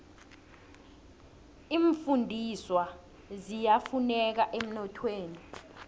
iimfundiswa ziyafuneka emnothweni